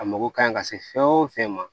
A mago ka ɲi ka se fɛn o fɛn ma